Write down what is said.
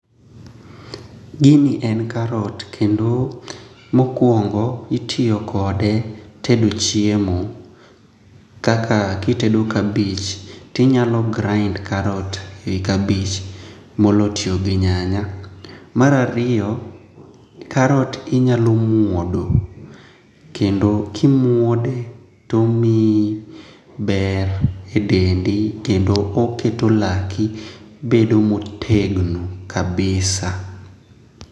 Gini en karot kendo mokwongo itiyo kode tedo chiemo kaka kitedo kabich tinyalo grind karot e kabich moloyo tiyo gi nyanya, mar ariyo karot inyalo muodo kendo kimuode tomiyi ber e dendi kendo oketo laki bedo motegno kabisa.